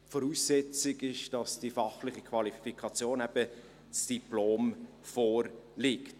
Voraussetzung ist, dass die fachliche Qualifikation, das Diplom, vorliegt.